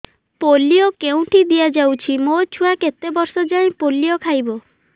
polio କେଉଁଠି ଦିଆଯାଉଛି ମୋ ଛୁଆ କେତେ ବର୍ଷ ଯାଏଁ ପୋଲିଓ ଖାଇବ